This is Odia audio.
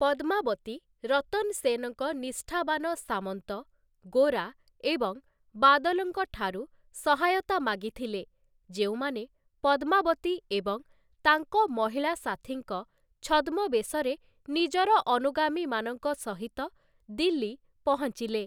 ପଦ୍ମାବତୀ, ରତନ୍‌ ସେନ୍‌ଙ୍କ ନିଷ୍ଠାବାନ ସାମନ୍ତ, ଗୋରା ଏବଂ ବାଦଲ୍‌ଙ୍କ ଠାରୁ ସହାୟତା ମାଗିଥିଲେ, ଯେଉଁମାନେ ପଦ୍ମାବତୀ ଏବଂ ତାଙ୍କ ମହିଳା ସାଥୀଙ୍କ ଛଦ୍ମବେଶରେ ନିଜର ଅନୁଗାମୀମାନଙ୍କ ସହିତ ଦିଲ୍ଲୀ ପହଞ୍ଚିଲେ ।